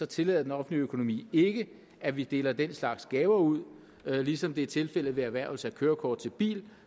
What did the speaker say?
tillader den offentlige økonomi ikke at vi deler den slags gaver ud ligesom det er tilfældet ved erhvervelse af kørekort til bil